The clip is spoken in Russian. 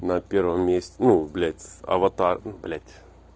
на первом месте ну блять с аватар блять